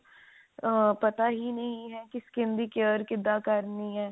ਪਤਾ ਹੀ ਨਹੀ ਹੈ ਕਿ skin ਦੀ care ਕਿਦਾਂ ਕਰਨੀ ਹੈ